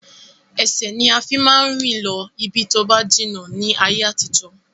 Ẹsẹ̀ ni a fi máa ń rìn lọ ibi tóba jìnnà ni ayé àtijọ́